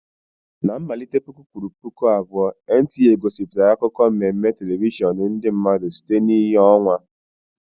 Na mmalite puku kwuru puku abụọ NTA gosipụtara akụkọ mmemme telivishọn ndị mmadụ site na ìhè ọnwa.